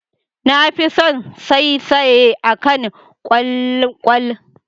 Na fi son saisaye akan kwalkwal.